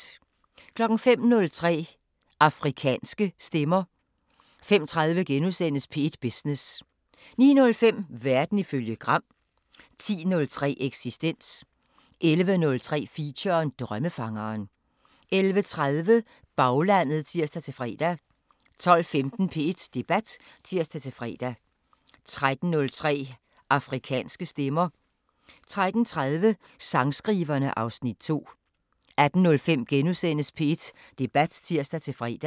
05:03: Afrikanske Stemmer 05:30: P1 Business * 09:05: Verden ifølge Gram 10:03: Eksistens 11:03: Feature: Drømmefangeren 11:30: Baglandet (tir-fre) 12:15: P1 Debat (tir-fre) 13:03: Afrikanske Stemmer 13:30: Sangskriverne (Afs. 2) 18:05: P1 Debat *(tir-fre)